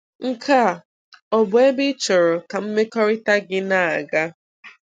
Nke a ọ bụ ebe ị chọrọ ka mmekọrịta gị na-aga?